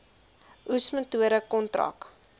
oes metode kontrak